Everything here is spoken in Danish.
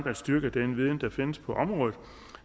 at styrke den viden der findes på området